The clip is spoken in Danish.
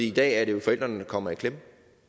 i dag er det jo forældrene der kommer i klemme